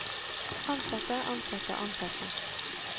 ansatte ansatte ansatte